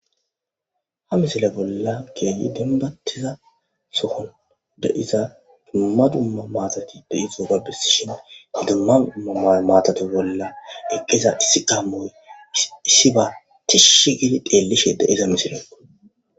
Ha misile bolla kehi denbatida sohon de,iza duma duma mathati dizayisa besishin duma duma matha bolla eqiza issi gamoyi issiba tishi gidi xelishe besiza misileko